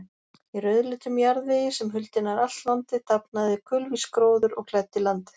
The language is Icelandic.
Í rauðleitum jarðvegi, sem huldi nær allt landið, dafnaði kulvís gróður og klæddi landið.